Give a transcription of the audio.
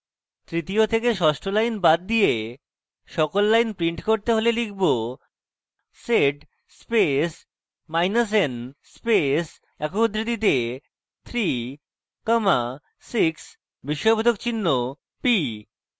তৃতীয় থেকে ষষ্ঠ lines বাদ দিয়ে সকল lines print করতে হলে লিখব: